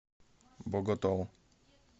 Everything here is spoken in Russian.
боготол